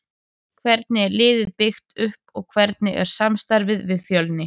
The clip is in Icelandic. Hvernig er liðið byggt upp og hvernig er samstarfið við Fjölni?